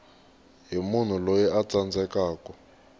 hi munhu loyi a tsandzekaku